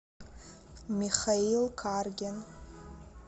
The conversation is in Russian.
михаил каргин